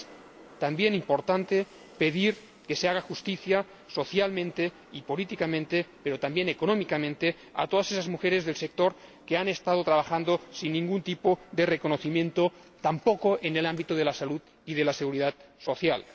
Es también importante pedir que se haga justicia, social, política y también económicamente, a todas esas mujeres del sector que han estado trabajando sin ningún tipo de reconocimiento, ni siquiera en el ámbito de la salud y de la seguridad social.